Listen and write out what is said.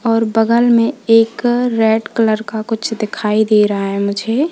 और बगल में एक रेड कलर का कुछ दिखाई दे रहा है मुझे।